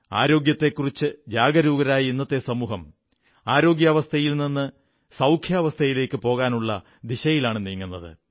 ആരോഗ്യത്തെക്കുറിച്ച് ജാഗരൂകരായ ഇന്നത്തെ സമൂഹം ശാരീരികസ്വാസ്ഥ്യത്തിൽ നിന്ന് ശാരീരികസൌഖ്യത്തിലേക്കു പോകാനുള്ള ദിശയിലാണ് നീങ്ങുന്നത്